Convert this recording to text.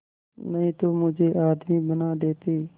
नहीं तो मुझे आदमी बना देते